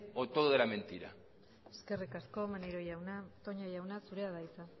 o todo era mentira eskerrik asko maneiro jauna toña jauna zurea da hitza